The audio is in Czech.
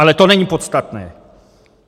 Ale to není podstatné.